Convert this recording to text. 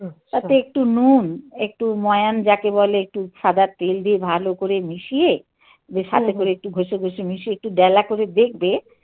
হুম. তাতে একটু নুন. একটু ময়ান যাকে বলে একটু সাদা তেল দিয়ে ভালো করে মিশিয়ে. যে সাথে করে একটু ঘষে ঘষে মিশিয়ে একটু ডেলা করে দেখবে